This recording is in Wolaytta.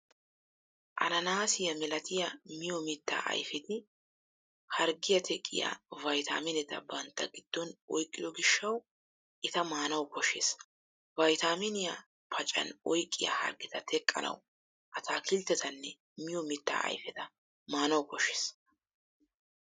Ananaasiyaa milatiya miyo mittaa ayfeti harggiya teqqiya vaytaamineta bantta giddon oyqqido gishshawu eta maanawu koshshees. Vaytaaminiyaa paccan oyqqiya harggeta teqqanawu ataakilttetanne miyo mittaa ayfeta maanawu koshshees.